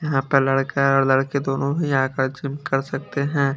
यहां पर लड़का और लड़की दोनों ही आकर जिम कर सकते हैं।